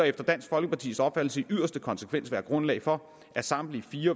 efter dansk folkepartis opfattelse i yderste konsekvens være grundlag for at samtlige fire